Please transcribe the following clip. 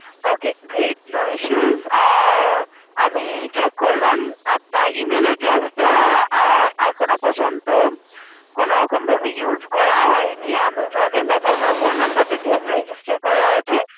Ok great no issues আমি check করলাম আপনার Email address টা কোনরকম ভাবে এখনো use করা হয়নি Amazon এ but আপনার phone number টা যেহেতু register করা আছে